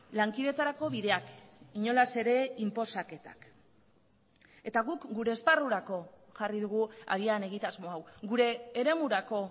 lankidetzarako bideak inolaz ere inposaketak eta guk gure esparrurako jarri dugu agian egitasmo hau gure eremurako